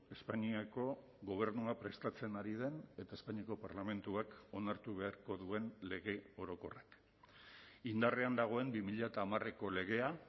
espainiako gobernua prestatzen ari den eta espainiako parlamentuak onartu beharko duen lege orokorrak indarrean dagoen bi mila hamareko legea